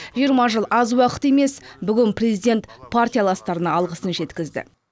жиырма жыл аз уақыт емес бүгін президент партияластарына алғысын жеткізді